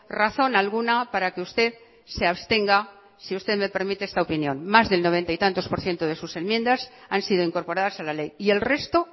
razón alguna para que usted se abstenga si usted me permite esta opinión más del noventa y tantos por ciento de sus enmiendas han sido incorporadas a la ley y el resto